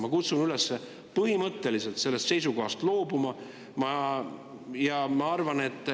Ma kutsun üles põhimõtteliselt sellest seisukohast loobuma.